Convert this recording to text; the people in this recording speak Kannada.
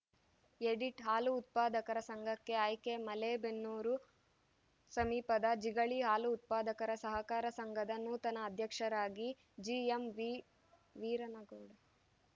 ಎಡಿಟ್‌ ಹಾಲು ಉತ್ಪಾದಕರ ಸಂಘಕ್ಕೆ ಆಯ್ಕೆ ಮಲೇಬೆನ್ನೂರು ಸಮೀಪದ ಜಿಗಳಿ ಹಾಲು ಉತ್ಪಾದಕರ ಸಹಕಾರ ಸಂಘದ ನೂತನ ಅಧ್ಯಕ್ಷರಾಗಿ ಜಿಎಂವಿ ವೀರನಗೌಡ